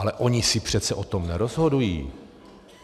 Ale oni si přece o tom nerozhodují.